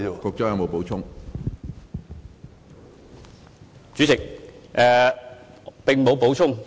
主席，我沒有補充。